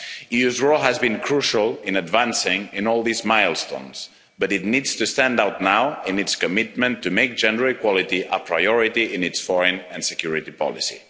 The EU's role has been crucial in advancing on all these milestones, but it needs to stand out now in its commitment to make gender equality a priority in its foreign and security policy.